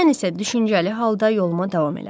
Mən isə düşüncəli halda yoluma davam elədim.